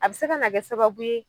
A bɛ se ka na kɛ sababu ye,